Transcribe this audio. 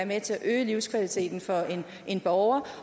med til at øge livskvaliteten for en borger